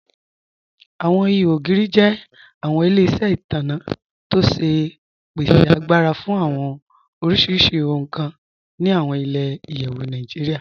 Awọn ìhò ogiri jẹ awọn ilẹ̀-iṣẹ itanna tó ṣe pèsè àgbàrà fún awọn oríṣiríṣì ohun kàn ni awọn ilẹ̀-iyẹ̀wù Nàìjíríà.